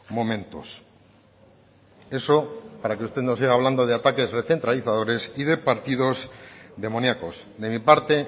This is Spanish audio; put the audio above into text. momentos eso para que usted no siga hablando de ataques recentralizadores y de partidos demoniacos de mi parte